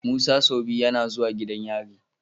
Musa sau biyu YAna zuwa gidan yari